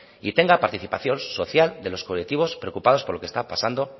y tenga participación social de los colectivos preocupados por lo que está pasando